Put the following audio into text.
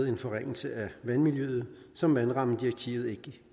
en forringelse i vandmiljøet som vandrammedirektivet ikke